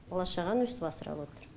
бала шағаны өйстіп асырап отырм